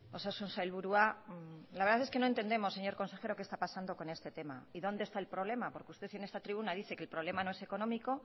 osasun sailburua la verdad es que no entendemos señor consejero qué está pasando con este tema y dónde está el problema porque usted en esta tribuna dice que el problema no es económico